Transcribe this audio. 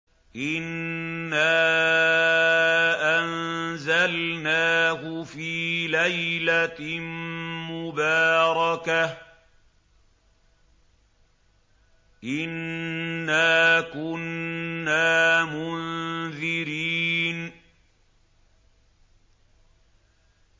إِنَّا أَنزَلْنَاهُ فِي لَيْلَةٍ مُّبَارَكَةٍ ۚ إِنَّا كُنَّا مُنذِرِينَ